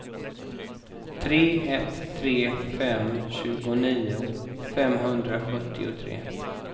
tre ett tre fem tjugonio femhundrasjuttiotre